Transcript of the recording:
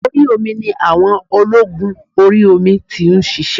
Orí omi ni àwọn ológun orí omi ti nsisé